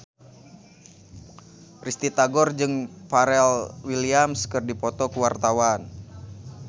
Risty Tagor jeung Pharrell Williams keur dipoto ku wartawan